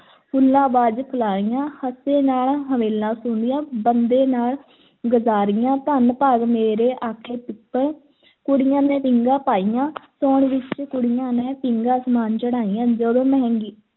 ਫੁੱਲਾਂ ਬਾਝ ਫਲਾਹੀਆਂ, ਹੱਸੇ ਨਾਲ ਹਮੇਲਾਂ ਸੋਂਹਦੀਆਂ, ਬੰਦਾਂ ਨਾਲ ਗਜਾਰੀਆਂ, ਧੰਨ ਭਾਗ ਮੇਰੇ ਆਖੇ ਪਿੱਪਲ ਕੁੜੀਆਂ ਨੇ ਪੀਂਘਾਂ ਪਾਈਆਂ ਸਾਉਣ ਵਿੱਚ ਕੁੜੀਆਂ ਨੇ, ਪੀਂਘਾਂ ਅਸਮਾਨ ਚੜ੍ਹਾਈਆਂ, ਜਦੋਂ ਮਹਿੰਦੀ